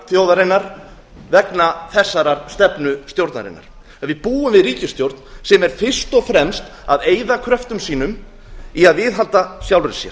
þjóðarinnar vegna þessarar stefnu stjórnarinnar við búum við ríkisstjórn sem er fyrst og fremst að eyða kröftum sínum í að viðhalda sjálfri sér